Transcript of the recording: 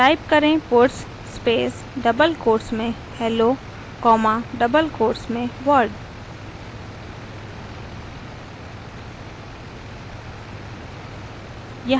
type करें puts space double quotes में hello comma double quotes में world